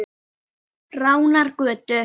Ránargötu